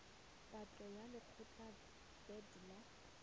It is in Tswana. patlo ya lekgetho vat la